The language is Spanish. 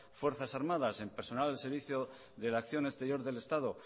fuerzas armadas en personal del servicio de la acción exterior del estado